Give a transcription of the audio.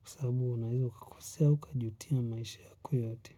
kwa sababu unaweza ukakosea au ukajutia maisha yoyote.